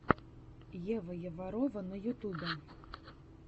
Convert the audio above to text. ева яварова на ютубе